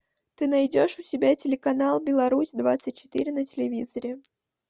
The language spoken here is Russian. ты найдешь у себя телеканал беларусь двадцать четыре на телевизоре